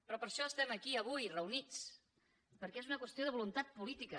però per això estem avui aquí reunits perquè és una qüestió de voluntat política